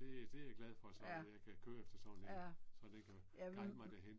Det, det er jeg glad for så at jeg kan køre efter sådan en. Så den kan guide mig derhen